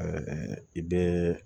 i bɛ